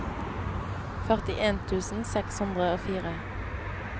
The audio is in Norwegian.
førtien tusen seks hundre og fire